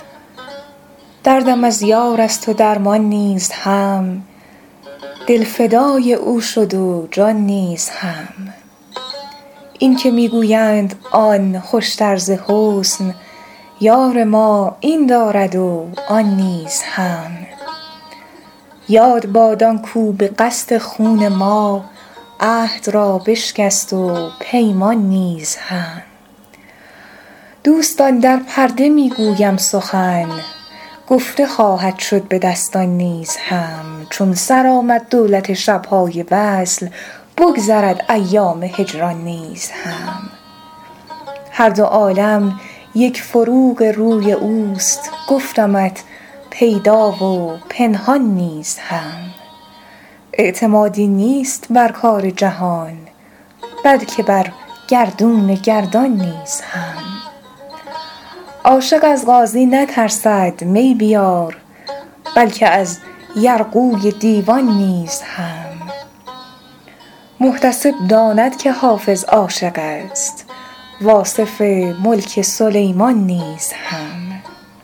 دردم از یار است و درمان نیز هم دل فدای او شد و جان نیز هم این که می گویند آن خوشتر ز حسن یار ما این دارد و آن نیز هم یاد باد آن کاو به قصد خون ما عهد را بشکست و پیمان نیز هم دوستان در پرده می گویم سخن گفته خواهد شد به دستان نیز هم چون سر آمد دولت شب های وصل بگذرد ایام هجران نیز هم هر دو عالم یک فروغ روی اوست گفتمت پیدا و پنهان نیز هم اعتمادی نیست بر کار جهان بلکه بر گردون گردان نیز هم عاشق از قاضی نترسد می بیار بلکه از یرغوی دیوان نیز هم محتسب داند که حافظ عاشق است و آصف ملک سلیمان نیز هم